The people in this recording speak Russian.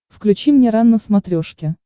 включи мне рен на смотрешке